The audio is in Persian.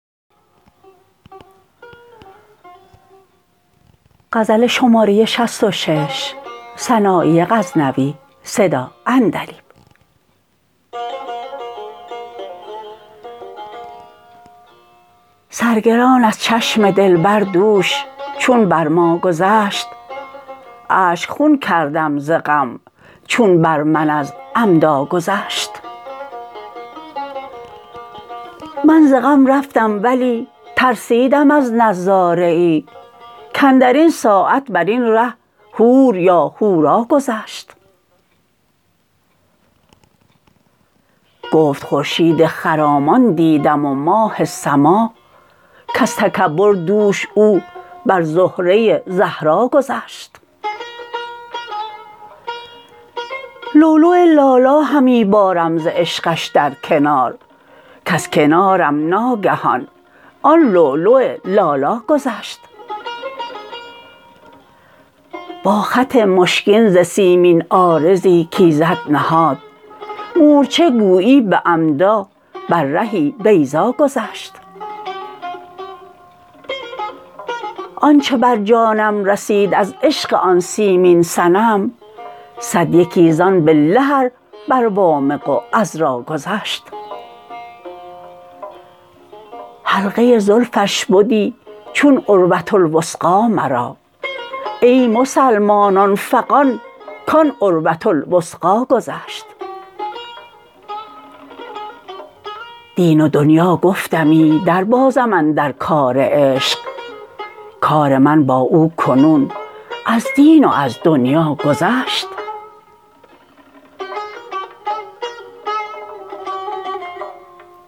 سرگران از چشم دلبر دوش چون بر ما گذشت اشک خون کردم ز غم چون بر من از عمدا گذشت من ز غم رفتم ولی ترسیدم از نظاره ای کاندرین ساعت برین ره حور یا حورا گذشت گفت خورشید خرامان دیدم و ماه سما کز تکبر دوش او بر زهره زهرا گذشت لولو لالا همی بارم ز عشقش در کنار کز کنارم ناگهان آن لولو لالا گذشت با خط مشکین ز سیمین عارضی کایزد نهاد مورچه گویی به عمدا بر رهی بیضا گذشت آنچه بر جانم رسید از عشق آن سیمین صنم صد یکی زان بالله ار بر وامق و عذرا گذشت حلقه زلفش بدی چون عروةالوثقی مرا ای مسلمانان فغان کان عروةالوثقا گذشت دین و دنیا گفتمی در بازم اندر کار عشق کار من با او کنون از دین و از دنیا گذشت